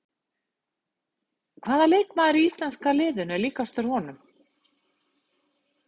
Hvaða leikmaður í íslenska liðinu er líkastur honum?